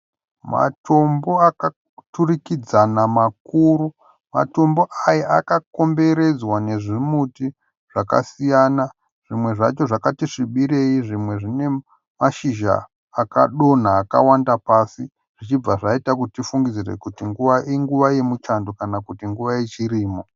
Matombo akaturikidzana makuru. Matombo aya akakomberedzwa nezvimuti zvakasiyana. Zvimwe zvacho zvakati svibirei zvimwe zvinenashizha akadonha akawanda pasi. Zvichibva zvaita kuti tifungidzire kuti inguva yemuchando kana kuti nguva yechirimo .